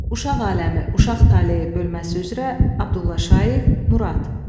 Uşaq aləmi, uşaq taleyi bölməsi üzrə Abdullah Şaiq, Murad.